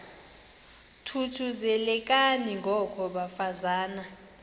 thuthuzelekani ngoko bafazana